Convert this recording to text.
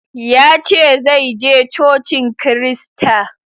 Ya ce zai je Cocin Kirista.